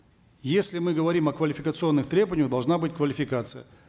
если мы говорим о квалификационных требованиях должна быть квалификация